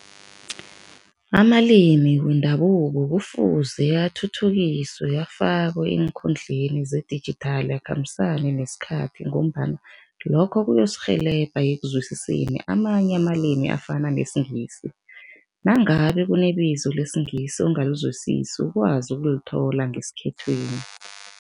Amalimi wendabuko kufuze athuthukiswe, afakwe eenkhundleni zedijithali, akhambisane nesikhathi ngombana lokho kuyosirhelebha ekuzwisiseni amanye amalimi afana nesiNgisi, nangabe kunebizo lesiNgisi ongalizwisisi, ukwazi ukulithola ngesikhethwini.